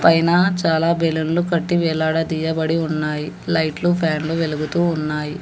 పైన చాలా బెలూన్లు కట్టి వేలాడదీయబడి ఉన్నాయి లైట్లు ఫ్యాన్లు వెలుగుతూ ఉన్నాయి.